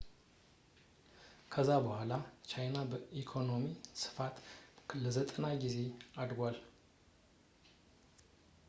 ከዛ በኋላ የቻይና የኢኮኖሚ ስፋት ለ90 ጊዜ አድጓል